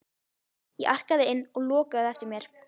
Ég arkaði inn og lokaði á eftir mér.